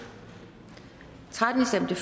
stemte